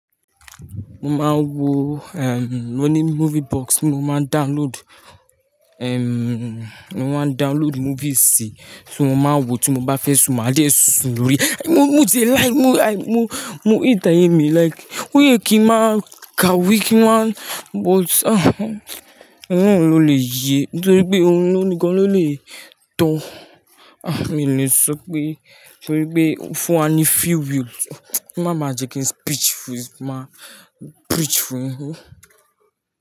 Mo máa ń wò, ehm, mo ní movie box. Mo máa ń download, ehm, mo máa ń download movies tí mo máa ń wò tí mo bá fẹ́ sùn, màá dé sùn lórí. Mo, mo ti e like, mo like, mo, mo hate ayemi like. Ó yẹ kí ń má kawe kí ń má, but ah, òloun ló lè yé torí pé òun nìkan ló lè tọ́. Ah, mi ò lè sọ pé torí pé fún wá ní free will. Má má jẹ́ kí n speech fún, má preach fún yín.